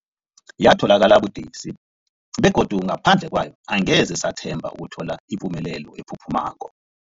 Yatholakala budisi, begodu ngaphandle kwayo angeze sathemba ukuthola ipumelelo ephuphumako.